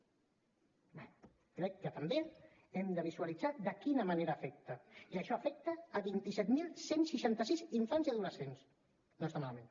bé crec que també hem de visualitzar de quina manera afecta i això afecta vint set mil cent i seixanta sis infants i adolescents no està malament